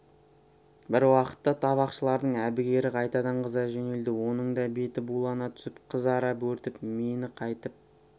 бір уақытта табақшылардың әбігері қайтадан қыза жөнелді оның да беті булана түсіп қызара бөртіп мені қайтіп